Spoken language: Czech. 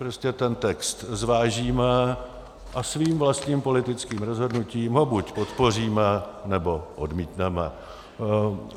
Prostě ten text zvážíme a svým vlastním politickým rozhodnutím ho buď podpoříme, nebo odmítneme.